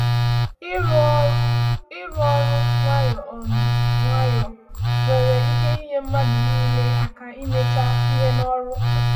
Ịrụ ọrụ nwayọ um nwayọ nwere ike inyé mmadụ niile aka imecha ihe n’ọrụ.